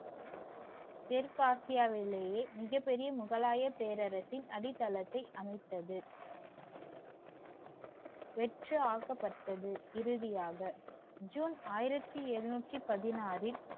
தெற்கு ஆசியாவிலேயே மிகப் பெரிய முகலாய பேரரசின் அடித்தளத்தை அமைத்தது. இறுதியாக ஜூன் ஆயிரத்தி எழுநூற்றி பதினாறில்